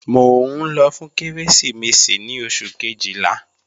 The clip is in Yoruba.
Mò ń lọ fún Kérésìmesì ní oṣù Kejìlá